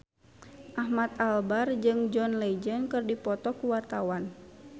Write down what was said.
Ahmad Albar jeung John Legend keur dipoto ku wartawan